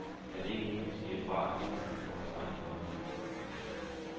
Er det ikke nu vi siger fra, af hensyn til vores egen værdighed?